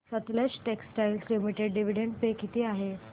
Sutlej textiles limited dividend pay किती आहे